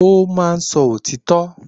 N ó máa sọ òtítọ́